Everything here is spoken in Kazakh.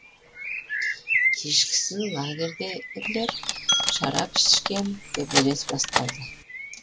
кешкісін лагердегілер шарап ішкен төбелес басталды